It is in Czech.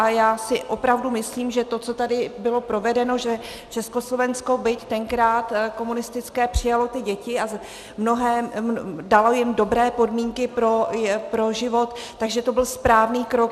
A já si opravdu myslím, že to, co tady bylo provedeno, že Československo, byť tenkrát komunistické, přijalo ty děti a dalo jim dobré podmínky pro život, že to byl správný krok.